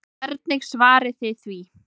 Hvernig svarið þið því?